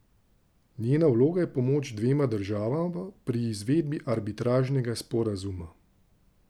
Njena vloga je pomoč dvema državama pri izvedbi arbitražnega sporazuma.